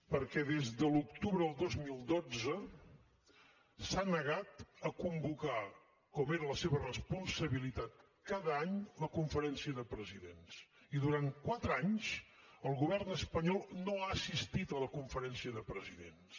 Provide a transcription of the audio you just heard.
perquè des de l’octubre del dos mil dotze s’ha negat a convocar com era la seva responsabilitat cada any la conferència de presidents i durant quatre anys el govern espanyol no ha assistit a la conferència de presidents